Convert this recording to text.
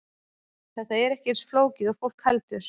Þetta er ekki eins flókið og fólk heldur.